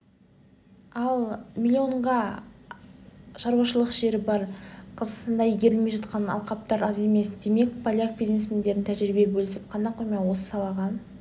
ал млн га шаруашалық жері бер қазақстанда игерілмей жатқан алқаптар аз емес демек поляк бизнесмендерінің тәжірибе бөлісіп қана қоймай осы салаға